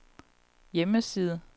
hjemmeside